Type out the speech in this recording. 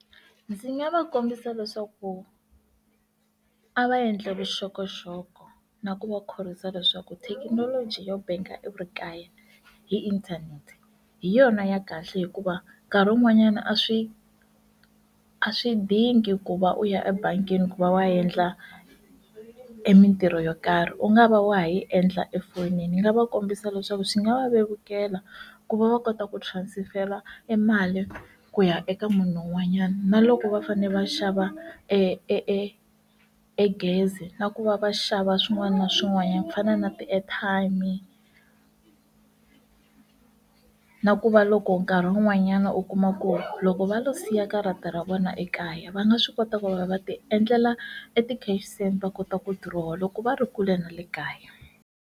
Ndzi nga va kombisa leswaku a va endla vuxokoxoko na ku va khorwisa leswaku thekinoloji yo bank-a hi ri kaya hi inthanete hi yona ya kahle hikuva nkarhi wun'wanyana a swi a swi dingi ku va u ya ebangini ku va wa endla emitirho yo karhi u nga va wa ha yi endla efonini ni nga va kombisa leswaku swi nga va vevukela ku va va kota ku transfer-la emali ku ya eka munhu un'wanyana na loko va fane va xava e e e egezi na ku va va xava swin'wana na swin'wanyana ku fana na ti airtime na ku va loko nkarhi wun'wanyana u kuma ku ri loko va lo siya karata ra vona ekaya va nga swi kota ku va va ti endlela e ti cash send va kota ku dirowa loko va ri kule na le kaya.